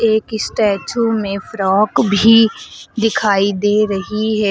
एक स्टैचू में फ्रॉक भी दिखाई दे रही है।